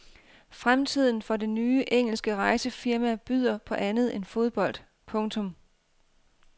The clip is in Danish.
Fremtiden for det nye engelske rejsefirma byder på andet end fodbold. punktum